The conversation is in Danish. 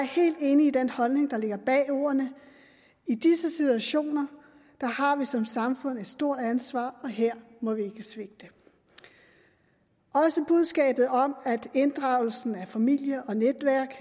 helt enig i den holdning der ligger bag ordene i disse situationer har vi som samfund et stort ansvar og her må vi ikke svigte også budskabet om at inddragelsen af familie og netværk